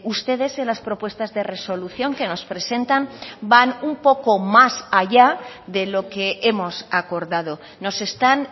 ustedes en las propuestas de resolución que nos presentan van un poco más allá de lo que hemos acordado nos están